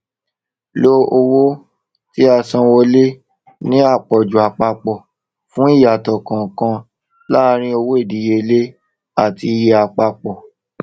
lo owó tíasanwọlé ní àpọjù àpapọ fún ìyàtọ kànkan láàrín owó ìdíyelé àti iye àpapọ